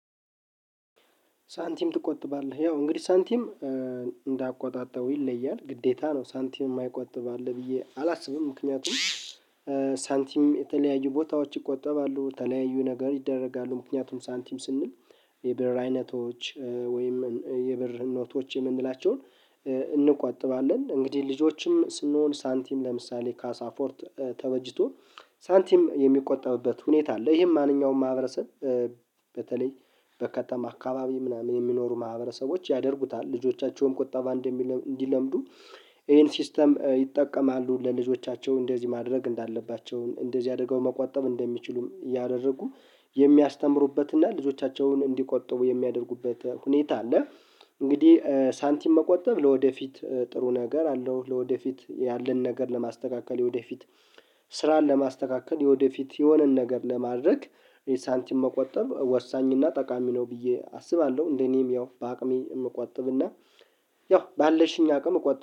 ሳንቲም ትቆጥባለህ ያው እንግዲህ ሳንቲም እንዳቆጣጠቡ ይለያል ግዴታ ነው ሳንቲም የማይቆጥብ አለ ብዬ አላስብም ምክንያቱም። ሳንቲም የተለያዩ ቦታዎች ይቆጠባሉ የተለያዩ ነገር ይደረጋሉ ምክንያቱም ሳንቲም ስንል የብር አይነቶች ወይም የብር ኖቶች የምንላቸውን። እንቆጥባለን እንግዲህ ልጆችም ስንሆን ሳንቲም ለምሳሌ ካሳ ፎርት ተበጅቶ ሳንቲም የሚቆጠብበት ሁኔታ አለ ይሄም ማንኛውም ማህበረሰብ። በተለይ በከተማ አካባቢ ምናምን የሚኖሩ ማህበረሰቦች ያደርጉታል ልጆቻቸውም ቁጠባ እንዲለምዱ ይሄን ሲስተም ይጠቀማሉ ለልጆቻቸው እንደዚህ ማድረግ እንዳለባቸው እንደዚህ አድርገው መቆጠብ እንደሚችሉም እኛ እያደረጉ የሚያስተምሩበትና ልጆቻቸውን እንዲቆጠቡ የሚያደርጉበት ሁኔታ አለ። እንግዲህ ሳንቲም መቆጠብ ለወደፊት ጥሩ ነገር አለው ለወደፊት ያለን ነገር ለማስተካከል የወደፊት ስራን ለማስተካከል የወደፊት የሆነን ነገር ለማድረግ ሳንቲም መቆጠብ ወሳኝ እና ጠቃሚ ነው ብዬ አስባለሁ። እንደኔም ያው በአቅሜ እምቆጥብና ያው ባለችኝ አቅም እቆጥብ